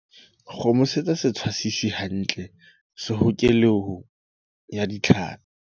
Kgomosetsa setshwasisi hantle sehokelong ya ditlhapi.